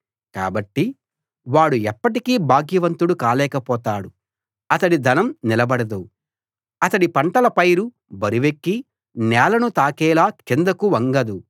కాబట్టి వాడు ఎప్పటికీ భాగ్యవంతుడు కాలేకపోతాడు అతడి ధనం నిలబడదు అతడి పంటల పైరు బరువెక్కి నేలను తాకేలా కిందకు వంగదు